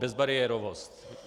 Bezbariérovost.